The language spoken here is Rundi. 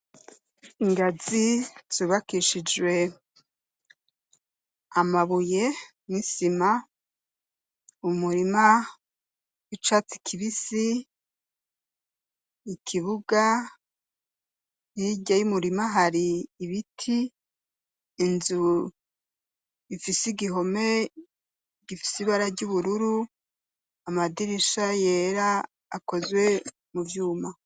Ingazi zubakishijwe amabuye n'isima, umurima w'icatsi kibisi, ikibuga, hirya y'umurima hari ibiti, inzu ifise igihome gifise ibara ry'ubururu, amadirisha yera akozwe mu vyuma.